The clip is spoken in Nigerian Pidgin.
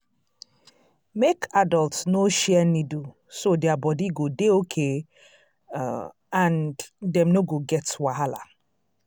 make adults no share needle so their body go dey okay um and dem no go get wahala